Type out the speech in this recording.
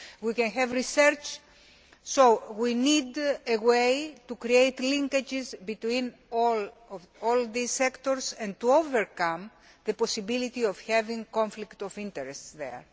and we can have research. So we need a way to create linkages between all these sectors and to overcome the possibility of there being conflicts of interest there.